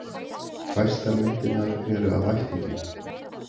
Fæstar myndirnar eru af ættingjum.